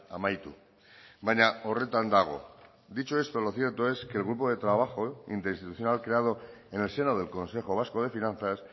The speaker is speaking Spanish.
amaitu baina horretan dago dicho esto lo cierto es que el grupo de trabajo interinstitucional creado en el seno del consejo vasco de finanzas